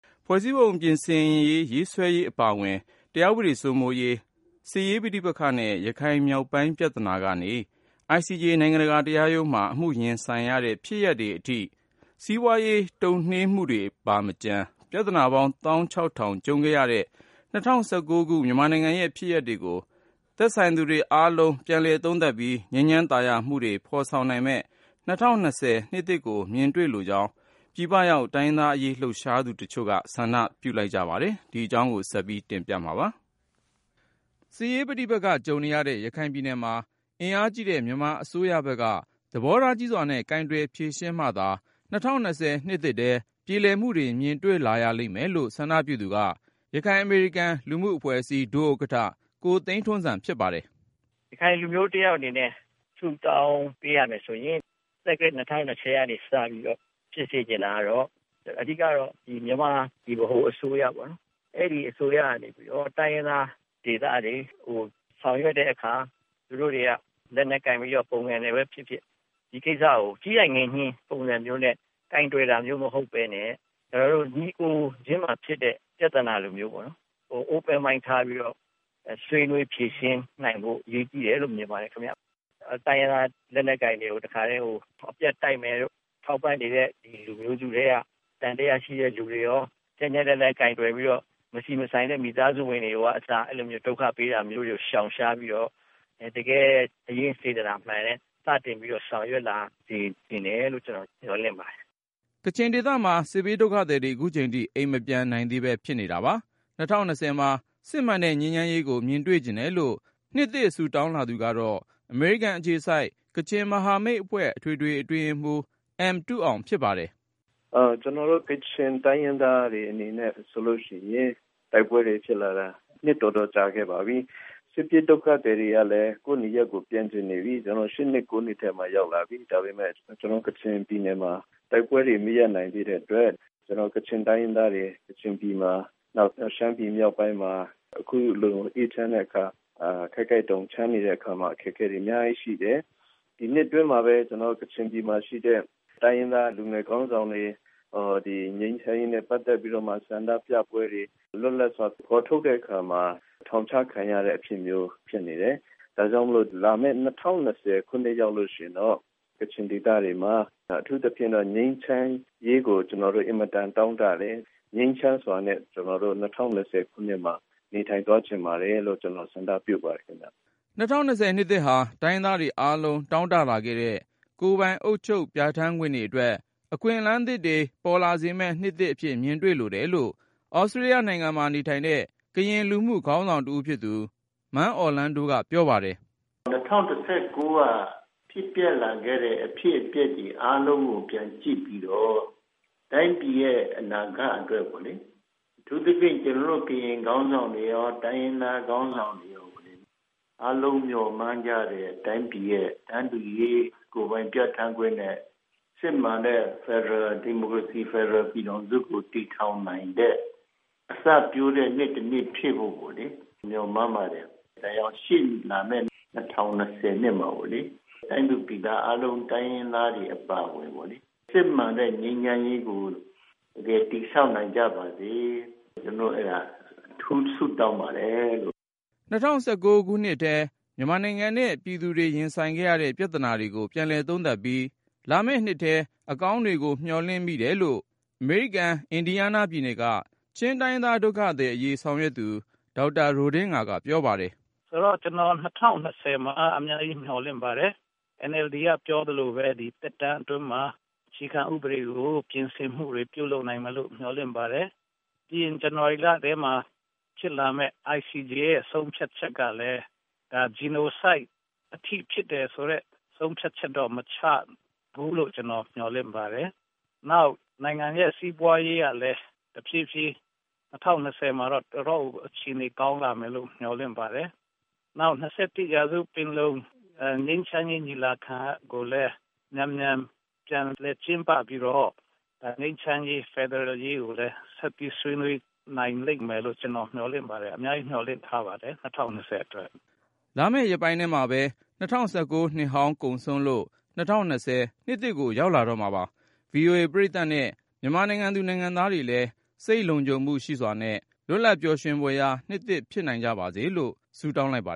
ဖွဲ့စည်းပုံပြင်ဆင်ရေးဆွဲရေး အပါအဝင် တရားဥပဒေစိုးမိုးရေး၊ စစ်ရေးပဋိပက္ခနဲ့ ရခိုင်မြောက်ပိုင်း ပြဿာနာကနေ ICJ နိုင်ငံတကာတရားရုံးမှာ အမှုရင်ဆိုင်ရတဲ့ ဖြစ်ရပ်တွေအထိ စီးပွားရေး တုံ့နှေးမှုတွေပါမကျန် ပြဿနာပေါင်း သောင်းခြောက်ထောင် ကြုံခဲ့ရတဲ့ ၂၀၁၉ ခု မြန်မာနိုင်ငံရဲ့ ဖြစ်ရပ်တွေကို သက်ဆိုင်သူတွေအားလုံး ပြန်လည်သုံးသပ်ပြီး ငြိမ်းချမ်းသာယာမှုတွေ ဖော်ဆောင်နိုင်မယ့် ၂၀၂၀ နှစ်သစ်ကို မြင်တွေ့လိုကြောင်း ပြည်ပရောက် တိုင်းရင်းသားအရေး လှုပ်ရှားသူတချို့က ဆန္ဒပြုလိုက်ကြပါတယ်။ အပြည့်အစုံကို ကိုဉာဏ်ဝင်းအောင်က စုစည်းတင်ပြထားပါတယ်။ စစ်ရေးပဋိပက္ခ ကြုံနေရတဲ့ ရခိုင်ပြည်နယ်မှာ အင်အားကြီးတဲ့ မြန်မာအစိုးရဘက်က သဘောထားကြီးစွာနဲ့ ကိုင်တွယ်ဖြေရှင်းမှသာ ၂၀၂၀ နှစ်သစ်ထဲ ပြေလည်မှုတွေ မြင်လာရလိမ့်မယ်လို့ ဆန္ဒပြုသူက ရခိုင်အမေရိကန် လူမှုအဖွဲ့အစည်း ဒုဥက္ကဋ္ဌ ကိုသိန်းထွန်းဇံ ဖြစ်ပါတယ်။ “ရခိုင်လူမျိုးတယောက် အနေနဲ့ ဆုတောင်းပေးရမယ်ဆိုရင် သက္ကရာဇ် ၂၀၂၀ ကနေ စပြီးတော့ ဖြစ်စေချင်တာ အဓိကတော့ မြန်မာ ဗဟိုအစိုးရကနေပြီးတော့ တိုင်းရင်းသားဒေသတွေကို ဆောင်ရွက်တဲ့အခါ သူတို့တွေက လက်နက်ကိုင်ပြီး ပုန်ကန်တာပဲဖြစ်ဖြစ် ဒီကိစ္စကို ကြီးနိုင်ငယ်ညှဉ်း ပုံစံမျိုးနဲ့ ကိုင်တွယ်တာမျိုး မဟုတ်ဘဲနဲ့ ညီအစ်ကိုချင်းဖြစ်တဲ့ ပြဿနာလိုမျိုး Open Mind ထားပြီးတော့ ဆွေးနွေးဖြေရှင်းနိုင်ဖို့ အရေးကြီးတယ်လို့ မြင်ပါတယ်။ “တိုင်းရင်းသား လက်နက်ကိုင်တွေကို အပြတ်တိုက်မယ်တို့ ထောက်ပံ့နေတဲ့ လူမျိုးစုထဲက သံသယရှိတဲ့သူတွေရော ကြမ်းကြမ်းတမ်းတမ်း ကိုင်တွယ်ပြီးတော့ မဆိုင်တဲ့ မိသားစုဝင်တွေရော ဒုက္ခပေးတာမျိုး ရှောင်ရှားပြီးတော့ တကယ် စိတ်ရင်း စေတနာမှန်နဲ့ စတင်ပြီး ဆောင်ရွက်လာစေချင်တယ်လို့ ကျနော် မျှော်လင့်ပါတယ်။” ကချင်ဒေသမှာ စစ်ဘေးဒုက္ခသည်တွေ ခုချိန်ထိ အိမ်မပြန်နိုင်သေးဘဲ ဖြစ်နေတာပါ။ ၂၀၂၀ မှာ စစ်မှန်တဲ့ ငြိမ်းချမ်းရေးကို မြင်တွေ့ချင်တယ်လို့ နှစ်သစ် ဆုတောင်းလာသူက အမေရိကန်အခြေစိုက် ကချင်မဟာမိတ်အဖွဲ့ အထွေထွေအတွင်းရေးမှူး အမ်တုအောင် ဖြစ်ပါတယ်။ “ကျနော်တို့ ကချင်တိုင်းရင်းသားတွေ အနေနဲ့ဆိုရင် တိုက်ပွဲတွေဖြစ်လာတာ နှစ်တော်တော်ကြာခဲ့ပါပြီ။ စစ်ပြေးဒုက္ခသည်တွေကလည်း ကိုယ့်နေရပ်ကို ပြန်ချင်နေပြီ။ ၈ နှစ် ၉ နှစ်ထဲမှာ ရောက်လာပြီ။ ဒါပေမယ့် ကျနော်တို့ ကချင်ပြည်နယ်မှာ တိုက်ပွဲတွေ မရပ်နိုင်သေးတဲ့အတွက် ကချင်တိုင်းရင်းသားတွေ ကချင်ပြည်မှာ၊ နောက် ရှမ်းပြည်မြောက်ပိုင်းမှာ အခုလို အေးချမ်းတဲ့အခါ၊ ခိုက်ခိုက်တုန် ချမ်းတဲ့အခါမှာ အခက်အခဲတွေ အများကြီးရှိတယ်။ “ဒီနှစ်အတွင်းမှာပဲ ကချင်ပြည်မှာရှိတဲ့ တိုင်းရင်းသား လူငယ်ခေါင်းဆောင်တွေ၊ ငြိမ်းချမ်းရေးနဲ့ ပတ်သက်ပြီး ဆန္ဒပြပွဲတွေ လွတ်လပ်စွာ ဖော်ထုတ်တဲ့အခါမှာ ထောင်ချခံရတဲ့အဖြစ်မျိုး ဖြစ်နေတယ်။ ဒါကြောင့်မို့ လာမယ့် ၂၀၂၀ ခုနှစ် ရောက်ရင်တော့ ကချင်ဒေသတွေမှာ အထူးသဖြင့်တော့ ငြိမ်းချမ်းရေးကို ကျနော်တို့ အင်မတန် တောင့်တတယ်။ ငြိမ်းချမ်းစွာနဲ့ ၂၀၂၀ ခုနှစ်မှာ နေထိုင်သွားချင်ပါတယ်လို့ ကျနော် ဆန္ဒပြုပါတယ်။” ၂၀၂၀ နှစ်သစ်ဟာ တိုင်းရင်းသားတွေအားလုံး တောင့်တလာခဲ့တဲ့ ကိုယ်ပိုင်အုပ်ချုပ် ပြဋ္ဌာန်းခွင့်တွေအတွက် အခွင့်အလမ်းတွေ ပေါ်လာစေမယ့် နှစ်အဖြစ် မြင်တွေ့လိုတယ်လို့ သြစတြေးလျနိုင်ငံမှာနေတဲ့ ကရင်လူမှုခေါင်းဆောင်တဦးဖြစ်သူ မန်းအော်လန်းဒိုက ပြောပါတယ်။ “၂၀၁၉ က ဖြစ်ပျက်လာခဲ့တဲ့ အဖြစ်အပျက်တွေ အားလုံးကို ပြန်ကြည့်ပြီးတော့ တိုင်းပြည်ရဲ့ အနာဂတ်အတွက် အထူးသဖြင့် ကျနော်တို့ ကရင်ခေါင်းဆောင်တွေရော တိုင်းရင်းသားခေါင်းဆောင်တွေရော အားလုံးမျှော်မှန်းကြတဲ့ တိုင်းပြည်ရဲ့ တန်းတူရေး၊ ကိုယ်ပိုင်ပြဋ္ဌာန်းခွင့်နဲ့ စစ်မှန်တဲ့ ဒီမိုကရေစီ ဖက်ဒရယ်ပြည်ထောင်စုကို တည်ထောင်နိုင်တဲ့ အစပျိုးတဲ့နှစ်တနှစ် ဖြစ်ဖို့ မျှော်မှန်းပါတယ်။ ဒါကြောင့် ရှေ့လာမယ့် ၂၀၂၀ မှာ တိုင်းသူပြည်သား အားလုံး တိုင်းရင်းသားတွေ အပါအဝင် စစ်မှန်တဲ့ ငြိမ်းချမ်းရေးကို တကယ်တည်ဆောင်နိုင်ကြပါစေ၊ ကျနော် အဲဒါ အထူးဆုတောင်းပါတယ်။” ၂၀၁၉ နှစ်ထဲ မြန်မာနိုင်ငံနဲ့ ပြည်သူတွေ ရင်ဆိုင်ရခဲ့တဲ့ ပြဿနာတွေကို ပြန်လည်သုံးသပ်ပြီး လာမယ့်နှစ်ထဲ အကောင်းတွေကို မျှော်လင့်မိတယ်လို့ အမေရိကန် အင်ဒီယားနားပြည်နယ်က ချင်းတိုင်းရင်းသား ဒုက္ခသည်အရေး ဆောင်ရွက်သူ ဒေါက်တာ ရိုဒင်းငါက ပြောပါတယ်။ “ကျနော် ၂၀၂၀ မှာ အများကြီး မျှော်လင့်ပါတယ်။ NLD က ပြောသလိုပဲ ဒီသက်တမ်းအတွင်းမှာ အခြေခံဥပဒေ ပြင်ဆင်မှုတွေ ပြုလုပ်နိုင်မယ်လို့ မျှော်လင့်ပါတယ်။ ပြီးရင် ဇန်နဝါရီလထဲမှ ဖြစ်လာမယ့် ICJ ရဲ့ ဆုံးဖြတ်ချက်ကလည်း Genocide အထိ ဖြစ်တယ်ဆိုတဲ့ ဆုံးဖြတ်ချက်တော့ မချဘူးလို့ ကျနော် မျှော်လင့်ပါတယ်။ နောက် နိုင်ငံရဲ့ စီးပွားရေးကလည်း တဖြည်းဖြည်း ၂၀၂၀ မှာတော့ တော်တော့်ကို အခြေအနေ ကောင်းလာမယ်လို့ မျှော်လင့်ပါတယ်။ နောက် ၂၁ ရာစုပင်လုံ ငြိမ်းချမ်းရေး ညီလာခံကိုလည်း မြန်မြန်ပြန်လည် ကျင်းပပြီးတော့ ငြိမ်းချမ်းရေး ဖက်ဒရယ်ရေးကိုလည်း ဆက်ပြီးဆွေးနွေးနိုင်လိမ့်မယ်လို့ ကျနော် မျှော်လင့်ပါတယ်။ အများကြီး မျှော်လင့်ထားပါတယ် ၂၀၂၀ အတွက်။” လာမယ့်ရက်ပိုင်းထဲမှာပဲ ၂၀၁၉ နှစ်ဟောင်းကုန်ဆုံးလို့ ၂၀၂၀ နှစ်သစ်ကို ရောက်လာတော့မှာပါ။ ဗွီအိုအေ ပရိသတ်နဲ့ မြန်မာနိုင်ငံသူ နိုင်ငံသားတွေလည်း စိတ်လုံခြုံမှုရှိစွာနဲ့ လွတ်လပ်ပျော်ရွှင်ဖွယ်ရာ နှစ်သစ် ဖြစ်နိုင်ကြပါစေလို့ ဆုတောင်းလိုက်ပါ